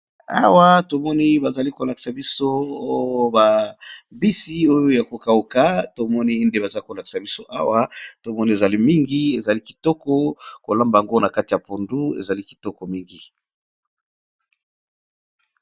Awa tomoni bazali kolakisa biso babisi oyo ya kokauka tomoni nde baza kolakisa biso awa tomoni ezali mingi ezali kitoko kolamba yango na kati ya pondu ezali kitoko mingi.